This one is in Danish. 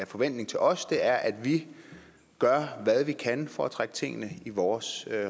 forventning til os det er at vi gør hvad vi kan for at trække tingene i vores